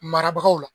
Marabagaw la